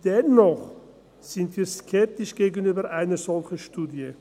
Dennoch sind wir skeptisch gegenüber einer solchen Studie.